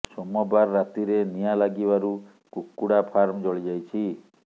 ସୋମବାର ରାତିରେ ନିଆଁ ଲାଗିବାରୁ କୁକୁଡ଼ା ଫାର୍ମ ଜଳି ଯାଇଛି